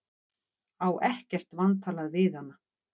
Á ekkert vantalað við hana.